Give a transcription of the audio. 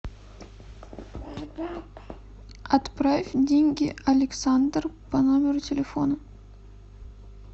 отправь деньги александр по номеру телефона